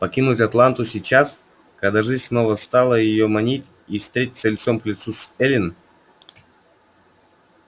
покинуть атланту сейчас когда жизнь снова стала её манить и встретиться лицом к лицу с эллин